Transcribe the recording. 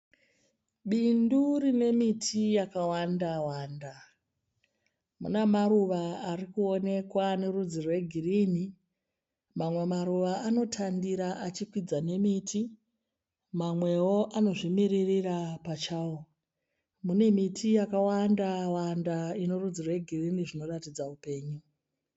Bindu rine miti yakawanda-wanda. Muna maruva arikuonekwa ane rudzi rwegirini. Mamwe maruva anotandira achikwidza nemiti. Mamwewo anozvimiririra pachawo. Mune miti yakawanda-wanda ine rudzi rwegirini zvinoratidza upenyu .